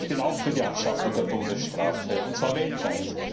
Ich bin auch für die Abschaffung der Todesstrafe, und zwar weltweit.